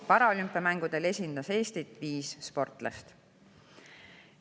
Paralümpiamängudel esindas Eestit viis sportlast.